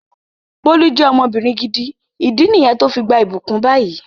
Bólú je ọmọbìnrin gidi, ìdí niyen to fi gbà ibukun bayi